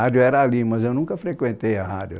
era ali mas eu nunca frequentei a rádio